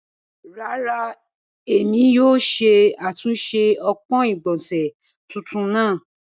Ràrà, emi kìí yóò ṣe atunṣe ọpọn igbọnse tuntun naa.